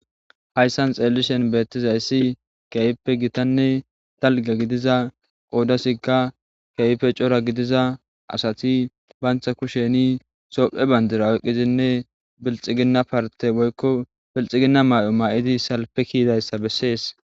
Hayssan xeellishen beettizayssi keeyippe gitanne dalga gidiza qoodasikka kehipe cora gidiza asati bantha kusheni sohphe bandura oqqizinne bilxiginna parte boykko bilxiginna may7o ma7idi salpe kiidayssa bessees.